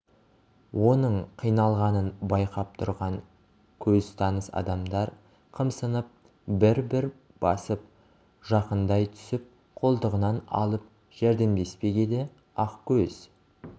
оның қиналғанын байқап тұрған көзтаныс адамдар қымсынып бір-бір басып жақындай түсіп қолтығынан алып жәрдемдеспек еді ақкөз